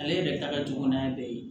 Ale yɛrɛ ta ka jugu n'a bɛɛ ye